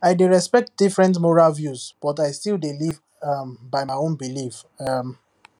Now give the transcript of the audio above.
i dey respect different moral views but i still dey live um by my own belief um